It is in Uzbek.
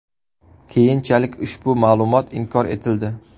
Keyinchalik ushbu ma’lumot inkor etildi.